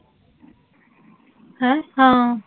ਹੈਂ? ਹਾਂ